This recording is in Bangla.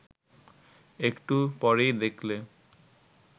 একটু পরেই দেখলে